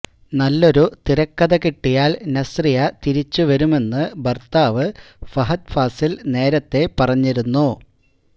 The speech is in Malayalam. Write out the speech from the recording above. നല്ലൊരു തിരക്കഥ കിട്ടിയാല് നസ്റിയ തിരിച്ചുവരുമെന്ന് ഭര്ത്താവ് ഫഹദ് ഫാസില് നേരത്തെ പറഞ്ഞിരുന്നു